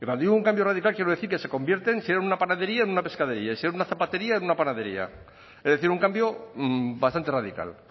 cuando digo un cambio radical quiero decir que se convierten y si hay una panadería en una pescadería y si hay una zapatería en una panadería es decir un cambio bastante radical